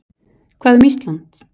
Hvað um Ísland?